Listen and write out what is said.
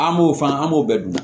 An b'o fana an b'o bɛɛ dun